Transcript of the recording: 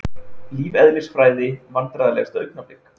Lífeðlisfræði Vandræðalegasta augnablik?